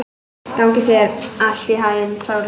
Gangi þér allt í haginn, Þorlaug.